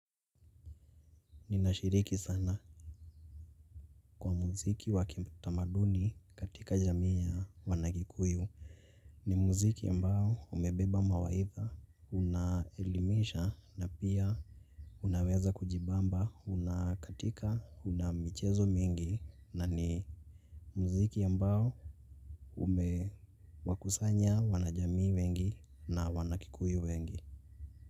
Ninashiriki sana kwa muziki wakiutamaduni katika jamii ya wanakikuyu. Ni muziki ambao umebeba mawaidha, unaelimisha na pia unaweza kujibamba, unakatika, unamichezo mingi na ni muziki ambao ume wakusanya wanajamii wengi na wanakikuyu wengi.